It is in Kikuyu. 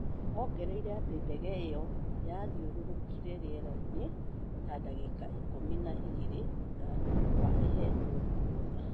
Ongereire atĩ ndege iyo yathiũrururkire rĩera-inĩ ta ndagika ikũmi na igĩrĩ thutha wa ĩhetwo rũtha